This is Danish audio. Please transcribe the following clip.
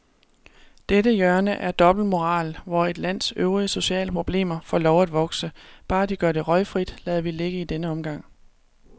Dette hjørne af dobbeltmoral, hvor et lands øvrige sociale problemer får lov at vokse, bare de gør det røgfrit, lader vi ligge i denne omgang.